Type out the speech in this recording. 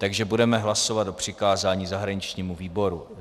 Takže budeme hlasovat o přikázání zahraničnímu výboru.